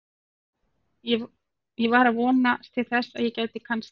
Ég var svona að vonast til þess að ég gæti kannski.